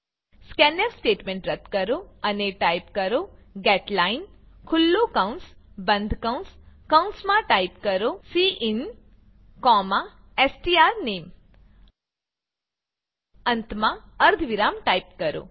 scanf statement રદ્દ કરો અને ટાઈપ કરો ગેટલાઇન ખુલ્લું કૌંસ બંધ કૌંસ કૌંસમાં ટાઈપ કરો સિન સ્ટ્રોનેમ અંતમાં અર્ધવિરામ ટાઈપ કરો